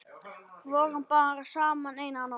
Vorum bara saman eina nótt.